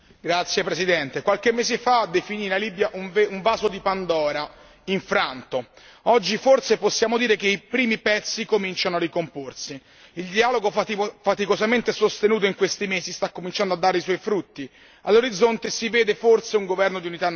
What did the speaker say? Signora Presidente, onorevoli colleghi, qualche mese fa definii la Libia un vaso di Pandora infranto. Oggi forse possiamo dire che i primi pezzi cominciano a ricomporsi. Il dialogo faticosamente sostenuto in questi mesi sta cominciando a dare i suoi frutti.